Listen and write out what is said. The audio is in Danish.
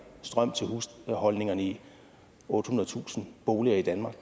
strøm til husholdningerne i ottehundredetusind boliger i danmark